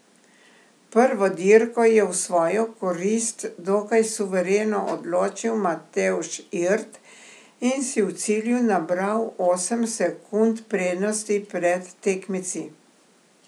Prvo dirko je v svojo korist dokaj suvereno odločil Matevž Irt in si v cilju nabral osem sekund prednosti pred tekmeci.